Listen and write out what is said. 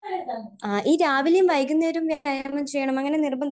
ഈ രാവിലെയും വൈകുന്നേരവും വ്യായാമം ചെയ്യണം അങ്ങനെ നിർബന്ധം